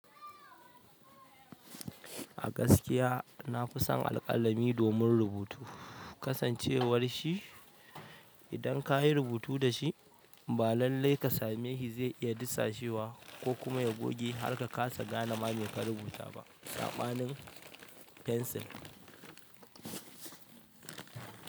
A gaskiya na kusan alƙalami domin rubutu. Kasancewar shi idan ka yi rubutu da shi ba lallai ka same shi zai iya disashewa ko kuma ya goge har ka kasa gane ma me ka rubuta ba. Saɓanin fensil.